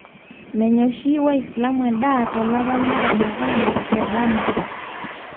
meenya oshi waislamu endaa to lapa le ramadan te ndama